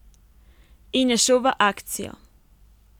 In je šel v akcijo.